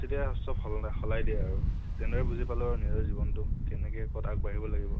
পৰিস্থিতি চব সলনা সলাই দিয়ে আৰু। তেনেদৰে বুজি পালো আৰু নিজৰ জিৱনটোত কেনেকে কʼত আগবাঢ়িব লাগিব